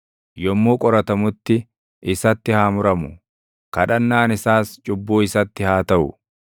Yommuu qoratamutti isatti haa muramu; kadhannaan isaas cubbuu isatti haa taʼu.